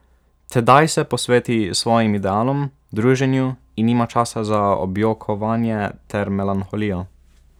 Tedaj se posveti svojim idealom, druženju in nima časa za objokovanje ter melanholijo.